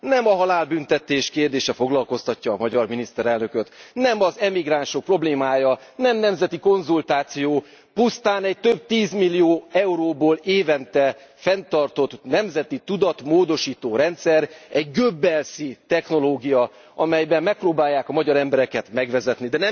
Nem a halálbüntetés kérdése foglalkoztatja a magyar miniszterelnököt, nem az emigránsok problémája, nem nemzeti konzultáció, pusztán egy több tízmillió euróból évente fenntartott nemzeti tudatmódosító rendszer, egy goebbelsi technológia, amelyben megpróbálják a magyar embereket megvezetni.